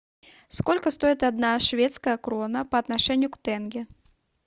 сколько стоит одна шведская крона по отношению к тенге